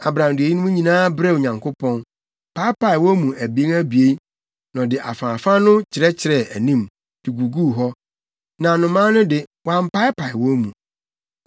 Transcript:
Abram de eyinom nyinaa brɛɛ Onyankopɔn, paapae wɔn mu abien abien, na ɔde afaafa no kyerɛkyerɛɛ anim, de guguu hɔ. Na nnomaa no de, wampaapae wɔn mu.